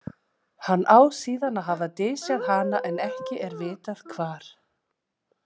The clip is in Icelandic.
Hann á síðan að hafa dysjað hana en ekki er vitað hvar.